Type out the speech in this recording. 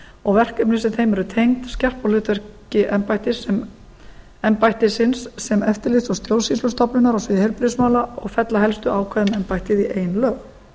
og verkefni sem þeim eru tengd skerpa á hlutverki embættisins sem eftirlits og stjórnsýslustofnunar á sviði heilbrigðismála og fella helstu ákvæði um embættið í ein lög